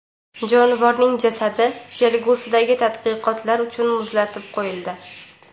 Jonivorning jasadi kelgusidagi tadqiqotlar uchun muzlatib qo‘yildi.